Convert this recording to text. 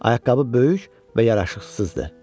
Ayaqqabı böyük və yaraşıqsızdı.